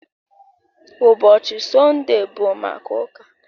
Ụbọchị Sọnde bụ maka ụka